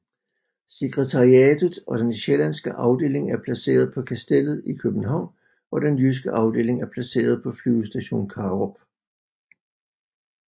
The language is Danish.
Sekretariatet og den sjællandske afdeling er placeret på Kastellet i København og den jyske afdeling er placeret på Flyvestation Karup